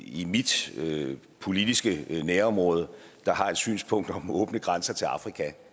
i mit politiske nærområde der har et synspunkt om åbne grænser til afrika